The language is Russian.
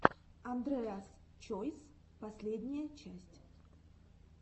андреас чойс последняя часть